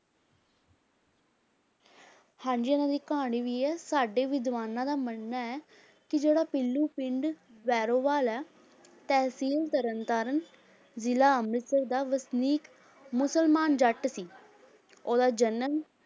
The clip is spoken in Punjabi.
ਹਾਂਜੀ ਇਹਨਾਂ ਦੀ ਕਹਾਣੀ ਵੀ ਹੈ ਸਾਡੇ ਵਿਦਵਾਨਾਂ ਦਾ ਮੰਨਣਾ ਹੈ ਕਿ ਜਿਹੜਾ ਪੀਲੂ ਪਿੰਡ ਵੈਰੋਵਾਲ ਹੈ, ਤਹਿਸੀਲ ਤਰਨਤਾਰਨ, ਜ਼ਿਲ੍ਹਾ ਅੰਮ੍ਰਿਤਸਰ ਦਾ ਵਸਨੀਕ ਮੁਸਲਮਾਨ ਜੱਟ ਸੀ ਉਹਦਾ ਜਨਮ